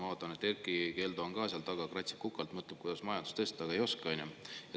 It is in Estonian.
Ma vaatan, et Erkki Keldo on ka seal taga, kratsib kukalt, mõtleb, kuidas majandust tõsta, aga ei oska, on ju.